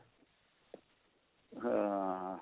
ਹਾਂ